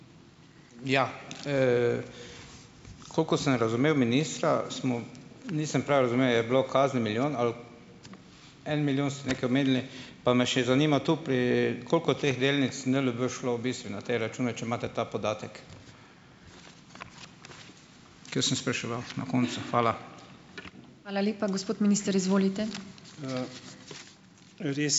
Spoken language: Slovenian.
Ja. Koliko sem razumel ministra, smo, nisem prav razumel. Je bilo kazni milijon, ali? En milijon ste nekaj omenili pa me še zanima tu pri - koliko teh delnic NLB šlo v bistvu na te račune? Če imate ta podatek. Ker sem spraševal na koncu. Hvala.